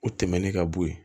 O tɛmɛnen ka bo ye